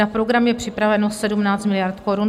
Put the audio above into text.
Na program je připraveno 17 miliard korun.